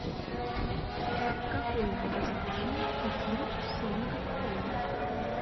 какое образование у ким сонг кон